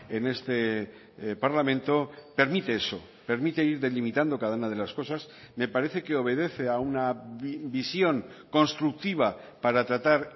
en este parlamento permite eso permite ir delimitando cada una de las cosas me parece que obedece a una visión constructiva para tratar